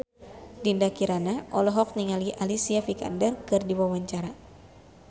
Dinda Kirana olohok ningali Alicia Vikander keur diwawancara